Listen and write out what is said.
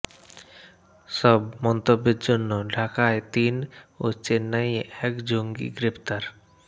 সব মন্তব্যের জন্য ঢাকায় তিন ও চেন্নাইয়ে এক জঙ্গি গ্রেপ্তার